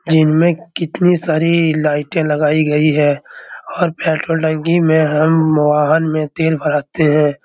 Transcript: जिनमें कितनी सारी लाइटे लगाई गई है और पेट्रोल टंकी में हम वाहन में तेल भराते हैं।